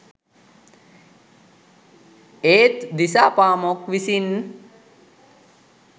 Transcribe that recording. ඒත් දිසාපාමොක් විසින්